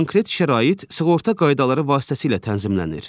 Konkret şərait sığorta qaydaları vasitəsilə tənzimlənir.